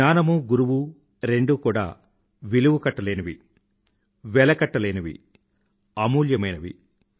జ్ఞానము గురువు రెండూ కూడా విలువకట్టలేవి వెల కట్టలేనివి అమూల్యమైనవి